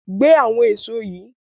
Gbé àwọn èso yìí!